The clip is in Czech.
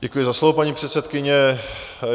Děkuji za slovo, paní předsedkyně.